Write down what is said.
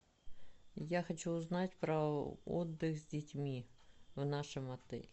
я хочу узнать про отдых с детьми в нашем отеле